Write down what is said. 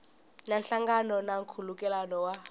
na nhlangano na nkhulukelano wa